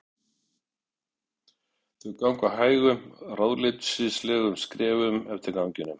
Þau ganga hægum, ráðleysislegum skrefum eftir ganginum.